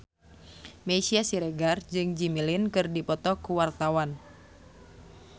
Meisya Siregar jeung Jimmy Lin keur dipoto ku wartawan